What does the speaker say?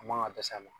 A man ka dɛsɛ a la